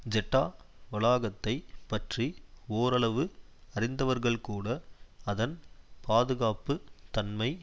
Jeddah வளாகத்தைப் பற்றி ஓரளவு அறிந்தவர்கள்கூட அதன் பாதுகாப்பு தன்மை